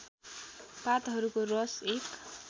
पातहरूको रस एक